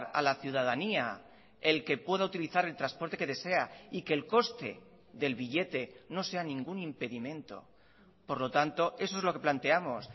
a la ciudadanía el que pueda utilizar el transporte que desea y que el coste del billete no sea ningún impedimento por lo tanto eso es lo que planteamos